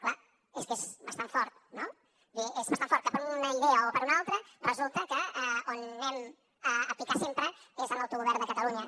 clar és que és bastant fort no vull dir és bastant fort que per una idea o per una altra resulta que on anem a picar sempre és en l’autogovern de catalunya